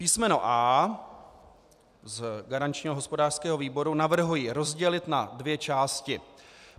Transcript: Písmeno A z garančního hospodářského výboru navrhuji rozdělit na dvě části.